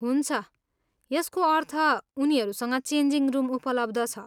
हुन्छ, यसको अर्थ उनीहरूसँग चेन्जिङ रुम उपलब्ध छ।